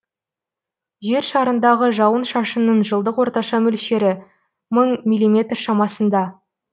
жер шарындағы жауын шашынның жылдық орташа мөлшері мың миллиметр шамасында